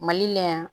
Mali la yan